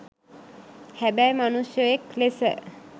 හැබැයි මනුශ්වයෙක් ලෙස